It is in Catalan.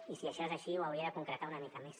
i si això és així ho hauria de concretar una mica més